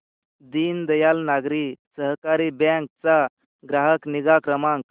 दीनदयाल नागरी सहकारी बँक चा ग्राहक निगा क्रमांक